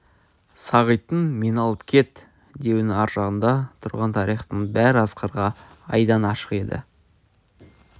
сағиттің мені алып кет деуінің аржағында тұрған тарихтың бәрі асқарға айдан ашық еді